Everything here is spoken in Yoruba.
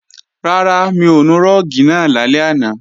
Rárá, mi ò nu rúùgì náà lálẹ́ àná